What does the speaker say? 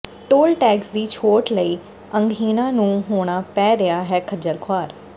toll tax ਦੀ ਛੋਟ ਲਈ ਅੰਗਹੀਣਾਂ ਨੂੰ ਹੋਣਾ ਪੈ ਰਿਹਾ ਹੈ ਖੱਜਲ ਖ਼ੁਆਰ